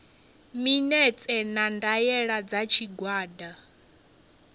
minetse na ndaela dza tshigwada